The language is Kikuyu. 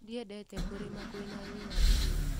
Ndiendete kũrĩma kwĩna riũa ihiũ.